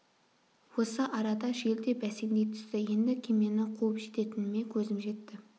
осы арада жел де бәсеңдей түсті енді кемені қуып жететініме көзім жетті